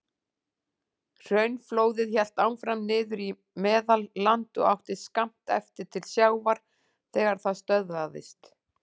Hraunflóðið hélt áfram niður í Meðalland og átti skammt eftir til sjávar þegar það stöðvaðist.